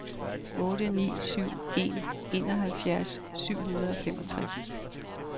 otte ni syv en enoghalvfjerds syv hundrede og femogtres